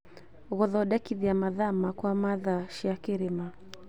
Gũthondekithia mathaa makwa ma thaa cia kĩrĩma